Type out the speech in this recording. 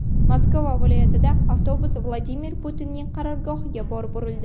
Moskva viloyatida avtobus Vladimir Putinning qarorgohiga borib urildi.